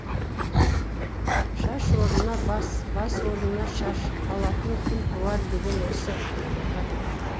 шаш орынына бас бас орынына шаш алатын күн туар деген осы жамағат